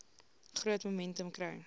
groot momentum kry